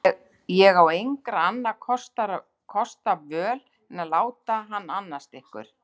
Ég á engra annarra kosta völ en að láta hann annast ykkur.